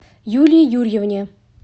юлии юрьевне